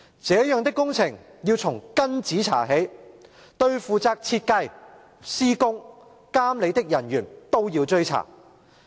這樣的工程要從根子查起，對負責設計、施工、監理的人員都要追查。